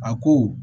A ko